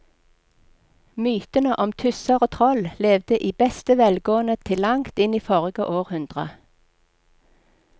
Mytene om tusser og troll levde i beste velgående til langt inn i forrige århundre.